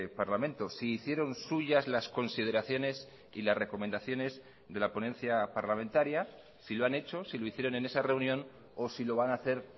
parlamento si hicieron suyas las consideraciones y las recomendaciones de la ponencia parlamentaria si lo han hecho si lo hicieron en esa reunión o si lo van a hacer